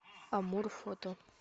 амур фото